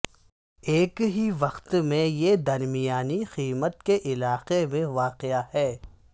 ایک ہی وقت میں یہ درمیانی قیمت کے علاقے میں واقع ہے